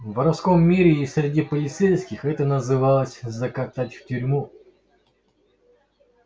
в воровском мире и среди полицейских это называлось закатать в тюрьму